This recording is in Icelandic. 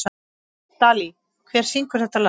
Dalí, hver syngur þetta lag?